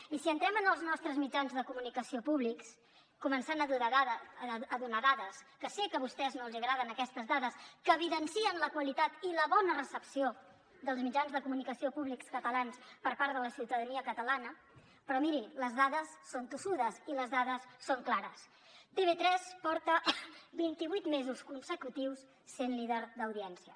i si entrem en els nostres mitjans de comunicació públics començaré a donar dades que sé que a vostès no els agraden aquestes dades que evidencien la qualitat i la bona recepció dels mitjans de comunicació públics catalans per part de la ciutadania catalana però miri les dades són tossudes i les dades són clares tv3 porta vinti vuit mesos consecutius sent líder d’audiència